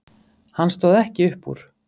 Hann stóð ekki upp úr.